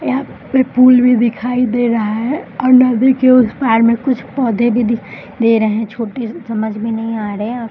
यहाँ पे पूल भी दिखाई दे रहा है और नदी के उस पार में कुछ पौधे भी दिखाई दे रहे है छोटे से समझ में नहीं आ रहे है ।